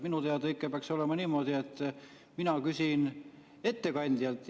Minu teada ikka peaks olema niimoodi, et mina küsin ettekandjalt.